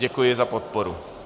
Děkuji za podporu.